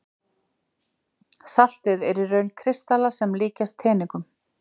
Saltið er í raun kristallar sem líkjast teningum.